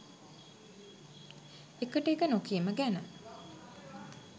එකට එක නොකීම ගැන